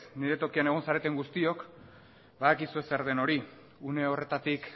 nire tokian egon zareten guztiok badakizue zer den hori une horretatik